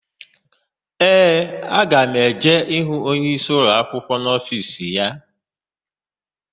Ee, aga m eje ịhụ onyeisi ụlọakwụkwọ n'ofiisi ya.